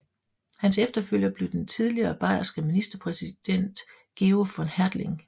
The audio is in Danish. Hans efterfølger blev den tidligere bayerske ministerpræsident Georg von Hertling